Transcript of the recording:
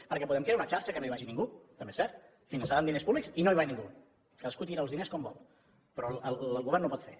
perquè podem crear una xarxa que no hi vagi ningú també és cert finançada amb diners públics i no hi va ningú cadascú tira els diners com vol però el govern no ho pot fer